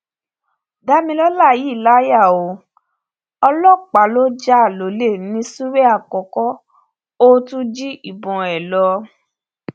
damilọla yìí láyà o ọlọpàá ló já lólè ní ṣúrẹ àkókò ò tún jí ìbọn ẹ lọ